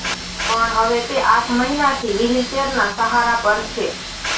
પણ હવે તે આઠ મહિનાથી વ્હીલચેરના સહારા પર છે